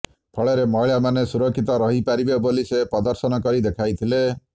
ଫଳରେ ମହିଳାମାନେ ସୁରକ୍ଷିତ ରହି ପାରିବେ ବୋଲି ସେ ପ୍ରଦର୍ଶନ କରି ଦେଖାଇଥିଲେ